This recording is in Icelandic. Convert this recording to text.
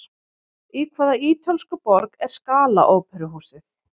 Í hvaða ítölsku borg er Scala óperuhúsið?